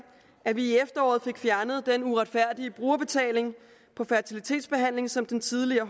at vi i efteråret fik fjernet den uretfærdige brugerbetaling på fertilitetsbehandling som den tidligere